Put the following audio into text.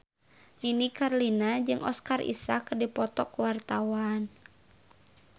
Nini Carlina jeung Oscar Isaac keur dipoto ku wartawan